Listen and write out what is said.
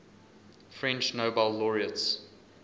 french nobel laureates